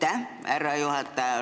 Aitäh, härra juhataja!